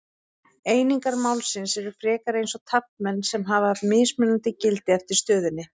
Einingar málsins eru frekar eins og taflmenn sem hafa mismunandi gildi eftir stöðunni.